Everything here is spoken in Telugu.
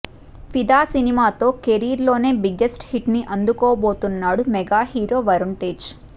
ఫిదా సినిమాతో కెరీర్ లోనే బిగ్గెస్ట్ హిట్ ని అందుకోబోతున్నాడు మెగా హీరో వరుణ్ తేజ్